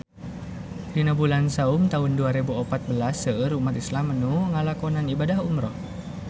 Dina bulan Saum taun dua rebu opat belas seueur umat islam nu ngalakonan ibadah umrah